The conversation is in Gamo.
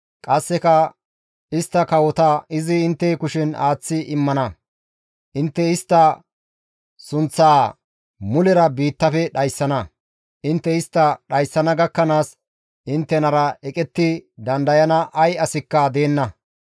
Qasseka istta kawota izi intte kushen aaththi immana; intte istta sunththaa mulera biittafe dhayssana; intte istta dhayssana gakkanaas inttenara eqetti dandayana ay asikka deenna.